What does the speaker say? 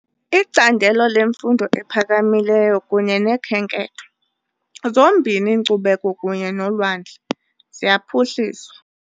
Icandelo lemfundo ephakamileyo kunye nokhenketho, zombini inkcubeko kunye nolwandle, ziyaphuhliswa .